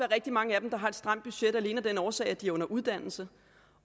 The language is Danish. rigtig mange af dem der har et stramt budget alene af den årsag at de er under uddannelse